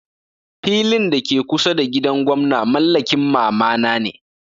Filin da ke kusa da gidan gwamna mallakin mama na ne.